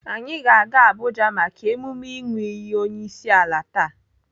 Anyị ga-aga Abuja maka emume ịnụ iyi onyeisiala taa.